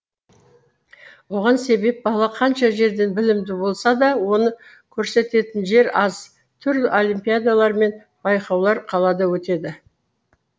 оған себеп бала қанша жерден білімді болса да оны көрсететін жер аз түрлі олимпиадалар мен байқаулар қалада өтеді